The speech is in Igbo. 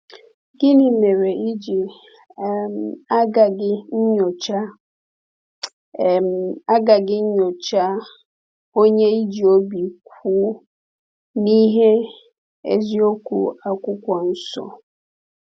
Gịnị mere i ji um agaghị nyochaa um agaghị nyochaa onye i ji obi kwụ n’ìhè eziokwu Akwụkwọ Nsọ?